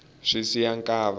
swa siya nkava